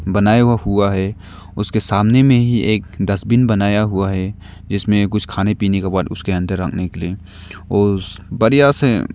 बनाया हुआ है उसके सामने में ही एक डस्टबिन बनाया हुआ है इसमें कुछ खाने पीने के बाद उसके अंदर रखने के लिए और बढ़िया से--